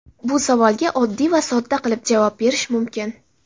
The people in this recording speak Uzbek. Bu savolga oddiy va sodda qilib javob berish mumkin.